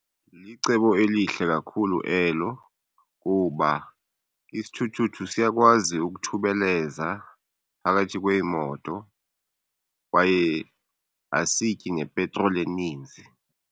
Licebo elihle kakhulu elo kuba isithuthuthu siyakwazi ukuthubeleza phakathi kweemoto kwaye asityi nepetroli eninzi.